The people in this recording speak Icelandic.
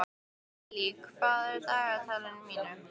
Gillý, hvað er á dagatalinu mínu í dag?